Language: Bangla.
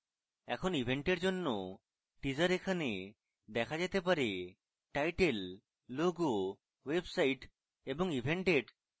এখন event এর জন্য teaser এখানে দেখা date পারেtitle logo website এবং event date